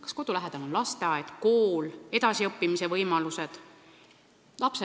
Kas kodu lähedal on lasteaed, kool, edasiõppimise võimalused?